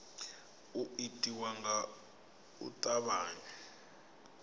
u itiwa nga u tavhanya